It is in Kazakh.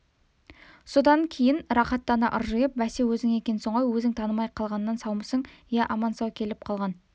содан кейін рақаттана ыржиып бәсе өзің екенсің ғой өзің танымай қалғаннан саумысың иә аман-сау келіп қалған